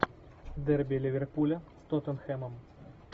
дерби ливерпуля с тоттенхэмом